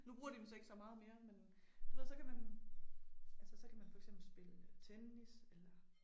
Nu bruger de dem så ikke så meget mere men du ved så kan man altså så kan man for eksempel spille tennis eller